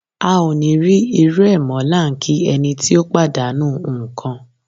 A ò ní rí irú ẹ̀ mọ́ la ń kí ẹni tí ó pàdánù ń kan.